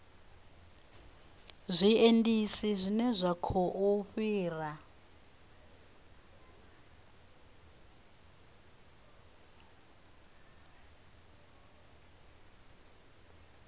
zwiendisi zwine zwa khou fhira